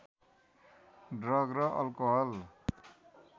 drug र alcohol